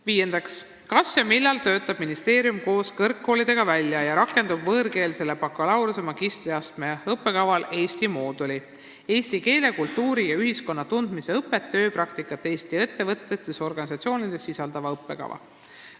Viiendaks: "Kas ja millal töötab ministeerium koos kõrgkoolidega välja ja rakendab võõrkeelsele bakalaureuse- ja magistriastme õppekavale Eesti mooduli – eesti keele, kultuuri ja ühiskonna tundmise õpet ja tööpraktikat Eesti ettevõttes ja/või organisatsioonis sisaldava õppekava?